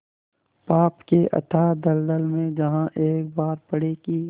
पाप के अथाह दलदल में जहाँ एक बार पड़े कि